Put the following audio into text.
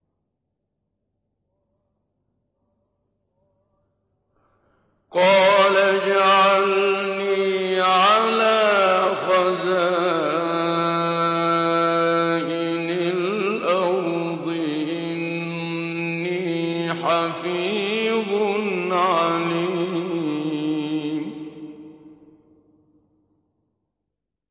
قَالَ اجْعَلْنِي عَلَىٰ خَزَائِنِ الْأَرْضِ ۖ إِنِّي حَفِيظٌ عَلِيمٌ